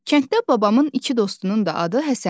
Kənddə babamın iki dostunun da adı Həsəndir.